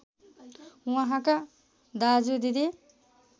उहाँका दाजु दिदी